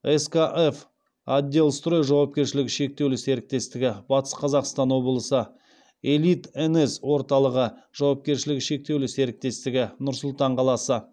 скф отделстрой жауапкершілігі шектеулі серіктестігі элит нс орталығы жауапкершілігі шектеулі серіктестігі